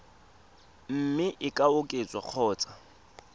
mme e ka oketswa kgotsa